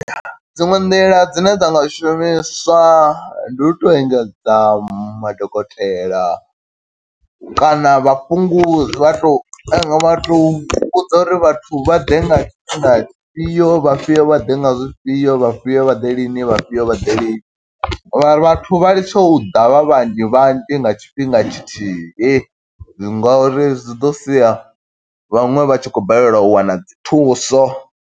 Dziṅwe nḓila dzine dza nga shumiswa, ndi u to engedza madokotela kana vha fhungu vha to kana vha to ri vhudza uri vhathu vha ḓe nga tshifhinga tshi fhio, vhafhiyo vha ḓe nga zwifhio, vhafhiyo vha ḓi lini, vhafhiyo vha ḓe lini. Mara vhathu vha litshe u ḓa vha vhanzhi vhanzhi nga tshifhinga tshithihi, ngo uri zwi ḓo sia vhaṅwe vha tshi khou balelwa u wana dzi thuso.